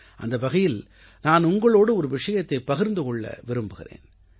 அந்த வகையில் நான் உங்களோடு ஒரு விஷயத்தைப் பகிர்ந்து கொள்ள விரும்புகிறேன்